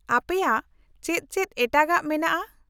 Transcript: -ᱟᱯᱮᱭᱟᱜ ᱪᱮᱫ ᱪᱮᱫ ᱮᱴᱟᱜᱟᱜ ᱢᱮᱱᱟᱜᱼᱟ ?